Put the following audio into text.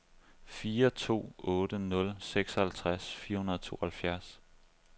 fire to otte nul seksoghalvtreds fire hundrede og tooghalvfjerds